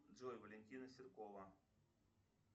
джой валентина серкова